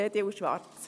EDU/Schwarz.